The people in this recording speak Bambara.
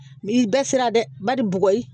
Ni i da sera dɛ bali bɔgɔ ye